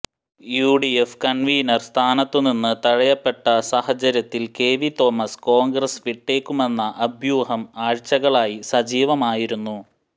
UDF convenor സ്ഥാനത്തുനിന്ന് തഴയപ്പെട്ട സാഹചര്യത്തിൽ കെവി തോമസ് കോൺഗ്രസ് വിട്ടേക്കുമെന്ന അഭ്യൂഹം ആഴ്ചകളായി സജീവമായിരുന്നു